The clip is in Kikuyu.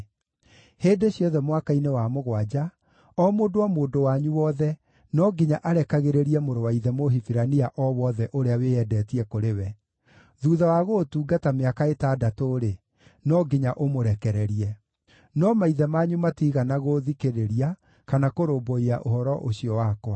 ‘Hĩndĩ ciothe mwaka-inĩ wa mũgwanja, o mũndũ o mũndũ wanyu wothe no nginya arekagĩrĩrie mũrũ wa ithe Mũhibirania o wothe ũrĩa wĩyendetie kũrĩ we. Thuutha wa gũgũtungata mĩaka ĩtandatũ-rĩ, no nginya ũmũrekererie.’ No maithe manyu matiigana gũũthikĩrĩria kana kũrũmbũiya ũhoro ũcio wakwa.